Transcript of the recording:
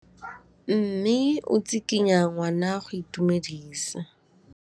Mme o tsikitla ngwana go mo itumedisa.